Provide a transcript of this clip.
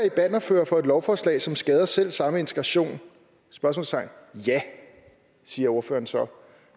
er i bannerførere for et lovforslag som skader selv samme integration ja siger ordføreren så